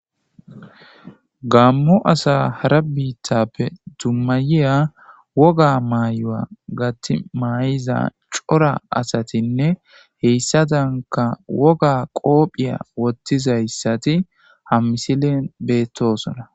gammo asa hara biittappe dummayiya woga maayoa gattimayiza cora asatinne heyssatanka woga qoophiya wottizayssati ham misilen beettosona